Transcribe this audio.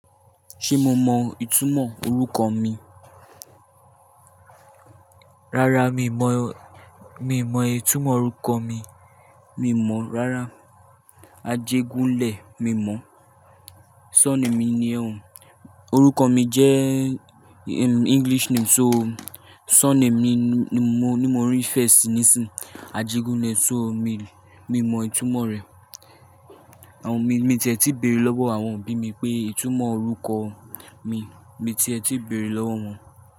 Ṣé mo mọ ìtumọ̀ orúkọ mi? Rárá, mi n mọ, mi n mọ ìtumọ̀ orúkọ mi. Mi n mọ̀ rárá. Ajégúnlẹ̀ mi n mọ̀. Surname mi nìyẹn o- orúkọ mi jẹ́ English name, so surname ni mo, ni mo refer sì nísìń, Ajégúnlẹ̀, so mi, mi n mọ ìtumọ̀ rẹ̀. Àwọn mi, mi ti ẹ ti beèrè lọ́wọ́ àwọn òbí mi pé ìtumọ̀ orúkọ mi, mi ti ẹ ti bèrè lọ́wọ́ wọn.